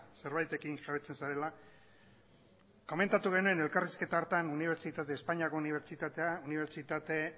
zerbaitekin jabetzen zarela komentatu genuen elkarrizketa hartan espainiako unibertsitate